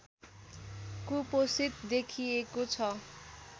कुपोषित देखिएको छ